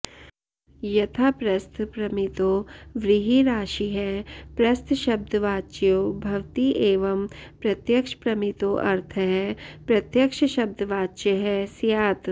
यथा प्रस्थप्रमितो व्रीहिराशिः प्रस्थशब्दवाच्यो भवति एवं प्रत्यक्षप्रमितोऽर्थः प्रत्यक्षशब्दवाच्यः स्यात्